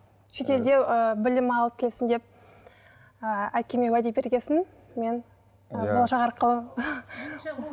шетелде ы білім алып келсін деп ыыы әкеме уәде берген соң мен болашақ арқылы